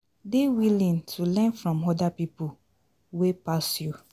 Dey willing to learn from oda pipo wey pass you